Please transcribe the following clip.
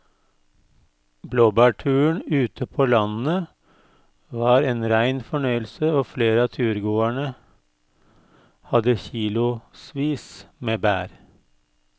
Blåbærturen ute på landet var en rein fornøyelse og flere av turgåerene hadde kilosvis med bær.